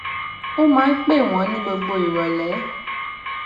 ó máa ń pè wón ní gbogbo ìròlé